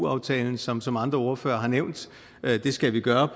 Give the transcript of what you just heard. aftalen som som andre ordførere har nævnt skal vi gøre